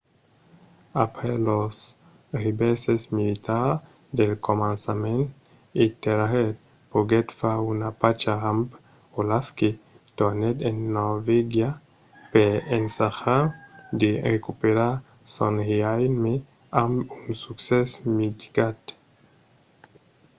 après los revèrses militars del començament ethelred poguèt far una pacha amb olaf que tornèt en norvègia per ensajar de recuperar son reialme amb un succès mitigat